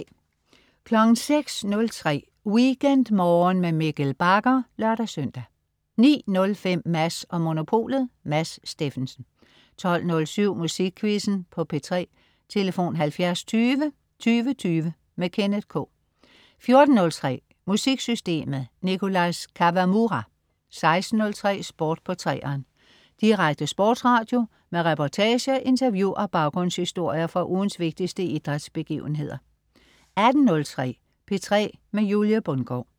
06.03 WeekendMorgen med Mikkel Bagger (lør-søn) 09.05 Mads & Monopolet. Mads Steffensen 12.07 Musikquizzen på P3. Tlf.: 70 20 20 20. Kenneth K 14.03 MusikSystemet. Nicholas Kawamura 16.03 Sport på 3'eren. Direkte sportsradio med reportager, interview og baggrundshistorier fra ugens vigtigste idrætsbegivenheder 18.03 P3 med Julie Bundgaard